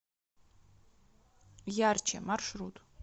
ярче маршрут